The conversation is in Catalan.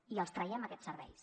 i els traiem aquests serveis